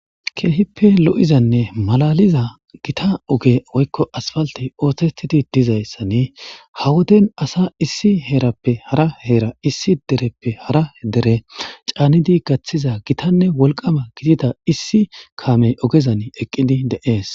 Keehippe lo'za woyko malatiza Gita ogey woyko asphaltey osetidi dizaysani ha Woden asa issi herappe hara Hera , issi dereppe hara dere canidi gathiza gitanne wolqama gidida issi kamey ogezani eqidi de'es.